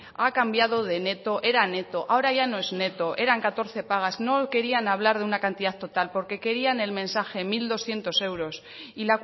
ha cambiado de neto era neto ahora ya no es neto eran catorce pagas no querían hablar de una cantidad total porque querían el mensaje mil doscientos euros y